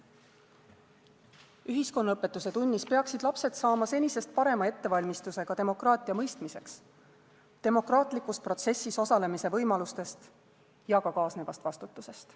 Ühiskonnaõpetuse tunnis peaksid lapsed saama senisest parema ettevalmistuse ka demokraatia mõistmiseks, demokraatlikus protsessis osalemise võimalustest ja ka kaasnevast vastutusest.